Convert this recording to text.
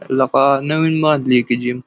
लका नवीन बांधली की जिम --